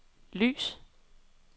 lys